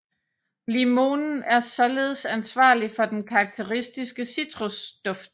Limonen er således ansvarlig for den karakteristiske citrusduft